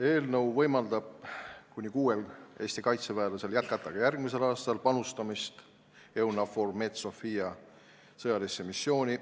Eelnõu võimaldab kuni kuuel Eesti kaitseväelasel jätkata ka järgmisel aastal panustamist EUNAVFOR Med/Sophia sõjalisse missiooni.